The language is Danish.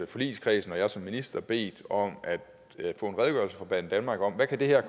forligskredsen og jeg som minister bedt om at få en redegørelse fra banedanmark om hvad det her